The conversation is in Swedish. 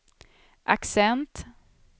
accent